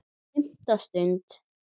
FIMMTA STUND